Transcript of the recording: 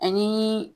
Ani